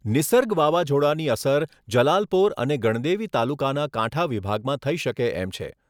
નિસર્ગ વાવાઝોડાની અસર જલાલપોર અને ગણદેવી તાલુકાના કાંઠા વિભાગમાં થઈ શકે એમ છે.